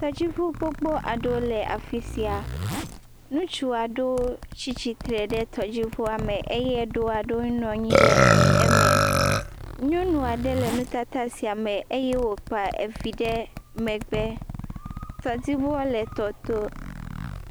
Tɔdziʋu gbogbo aɖewo le afi sia ŋustu aɖewo tsitsitre ɖe tɔdzi ʋua me eye eɖe aɖewo nɔa anyi ɖe me nyɔnua ɖe le nutata sia me eye wokpa evi ɖe megbe tɔdzia ʋua le tɔto.